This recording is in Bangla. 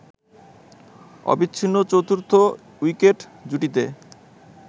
অবিচ্ছিন্ন চতুর্থ উইকেট জুটিতে